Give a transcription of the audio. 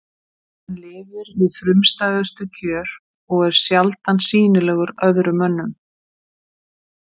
Hann lifir við frumstæðustu kjör og er sjaldan sýnilegur öðrum mönnum.